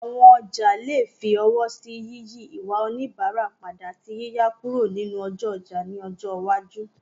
Àwọn ọjà lè fi ọwọ́ sí yíyí ìwà oníbàárà padà, àti yíyà kúrò nínú ọjọ́ ọjà ní ọjọ́ iwájú.